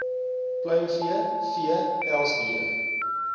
pluimvee vee pelsdiere